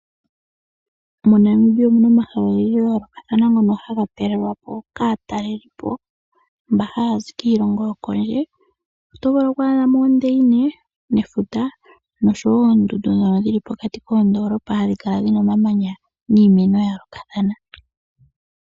MoNamibia omuna omahala ogendji ngono haga talelwa po kaatalelipo taya zi kondje yoshilongo, otovulu oku adha po oondeina nefuta noshowo oondundu dhono dhili pokati koondoolopa dhina omamanya niimeno yaayolokathana.